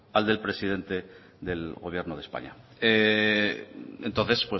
al del presidente del gobierno de españa entonces